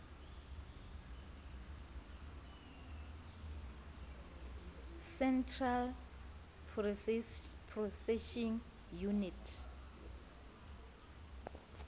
central processing unit